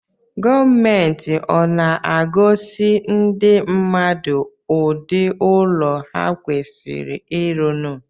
Gomenti ọ na-agosi ndi mmadụ ụdị ụlọ ha kwasiri ịrụnụ?